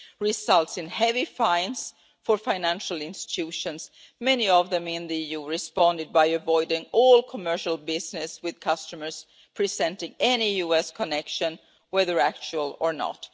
results in heavy fines for financial institutions, many of them in the EU have responded by avoiding all commercial business with customers presenting any US connection, whether actual or not.